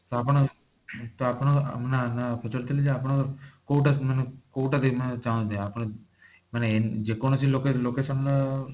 ତ ଆପଣ ତ ଆପଣ ଆଁ ମାନେ ମୁଁ ପଚାରୁଥିଲି ଯେ ଆପଣ କୋଊଟା କୋଊଟା ଦେଖିବାକୁକୁ ଚାହାନ୍ତି ଆପଣ ମାନେ ଯେକୌଣସି loca location ର